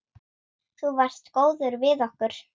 Þú varst góður við okkur.